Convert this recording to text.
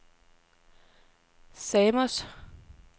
Samos